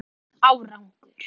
Hún bar engan árangur